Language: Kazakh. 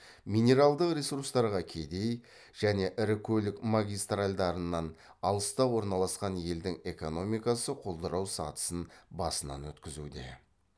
минералдық ресурстарға кедей және ірі көлік магистральдарынан алыста орналасқан елдің экономикасы құлдырау сатысын басынан өткізуде